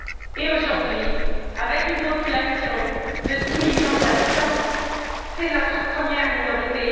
Et aujourd'hui, avec une population de dix millions d'habitants, c'est notre première minorité.